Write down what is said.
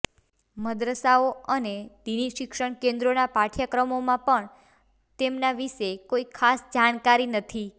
મદ્રસાઓ અને દીની શિક્ષણ કેન્દ્રોના પાઠ્યક્રમોમાં પણ તેમના વિશે કોઇ ખાસ જાણકારી નથી